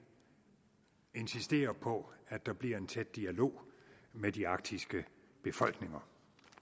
insisterer på at der bliver en tæt dialog med de arktiske befolkninger